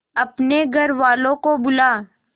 अपने घर वालों को बुला